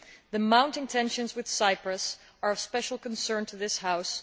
The mounting tensions with Cyprus are of special concern to this House.